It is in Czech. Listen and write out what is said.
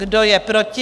Kdo je proti?